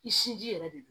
I sin ji yɛrɛ de don